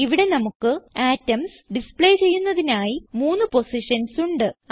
ഇവിടെ നമുക്ക് atoms display ചെയ്യുന്നതിനായി മൂന്ന് പൊസിഷൻസ് ഉണ്ട്